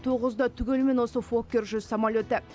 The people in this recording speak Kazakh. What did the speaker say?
тоғызы да түгелімен осы фоккер жүз самолеті